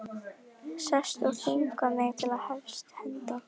Sest og þvinga mig til að hefjast handa.